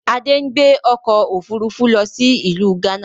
Adé ń gbé ọkọ̀ Òfurufú lọ sí ìlú gánà